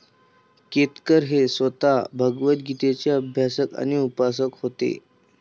केतकर हे स्वतः भगवतगीतेचे अभ्यासक आणि उपासक होते